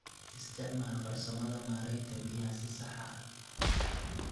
Isticmaal farsamada maaraynta biyaha si sax ah.